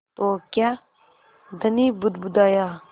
तो क्या धनी बुदबुदाया